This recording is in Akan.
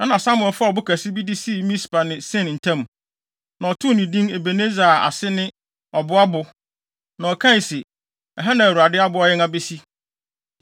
Ɛnna Samuel faa ɔbo kɛse bi de sii Mispa ne Sen ntam. Na ɔtoo no din Ebeneser a ase ne “Ɔboa bo” na ɔkae se, “Ɛha na Awurade aboa yɛn abesi!”